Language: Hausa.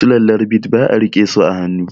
Sulallar bit ba a rike su a hannu